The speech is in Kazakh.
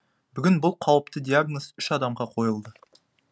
бүгін бұл қауіпті диагноз үш адамға қойылды